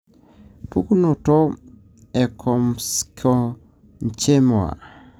pukunoto:Ectomesenchymoma.